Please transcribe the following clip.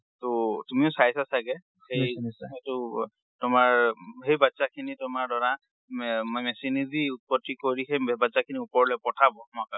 ট তুমিও চাইচা চাগে? সেই সেইটো তোমাৰ সেই বাচ্চা খিনি তোমাৰ ধৰা মে~ machine এদি উৎপত্তি কৰি সেই বাচ্চা খিনি ওপৰলে পথাব।